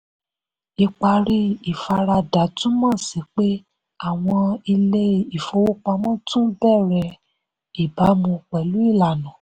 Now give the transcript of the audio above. ìparí ìfaradà túmọ̀ sí pé àwọn ilé-ìfowópamọ́ tún bẹ̀rẹ̀ ìbámu pẹ̀lú ìlànà.